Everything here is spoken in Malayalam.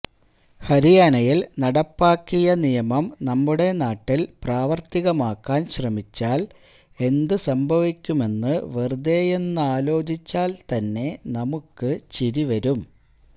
ഹരിയാനയില് നടപ്പാക്കിയ നിയമം നമ്മുടെ നാട്ടില് പ്രാവര്ത്തികമാക്കാന് ശ്രമിച്ചാല് എന്തു സംഭവിക്കുമെന്ന് വെറുതേയൊന്നാലോചിച്ചാല് തന്നെ നമുക്ക് ചിരിവരും